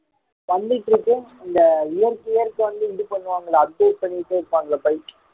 வந்துடுது இருக்கு இந்த year year க்கு வந்து இது பண்ணுவாங்களா update பண்ணிட்டு இருப்பாங்கல்ல bike